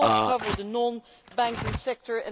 it cannot cover the non banking sector